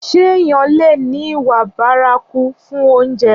Ṣé èèyàn leè ní ìwà bárakú fún oúnjẹ?